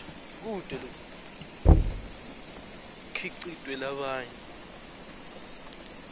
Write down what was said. kute kukhicitwe labanye